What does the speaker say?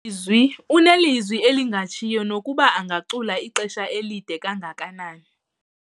Zwi unelizwi elingatshiyo nokuba angacula ixesha elide kangakanani.